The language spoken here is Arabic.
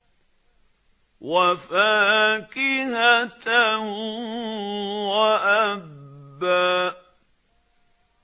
وَفَاكِهَةً وَأَبًّا